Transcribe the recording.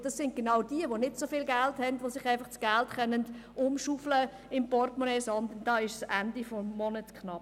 Das sind genau jene, die nicht so viel Geld haben und das Geld im Portemonnaie nicht einfach umschaufeln können, sondern dort ist es am Ende des Monats knapp.